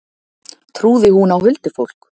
Trúði hún á huldufólk?